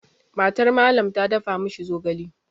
MatarMallam ta dafa ma shi zogale.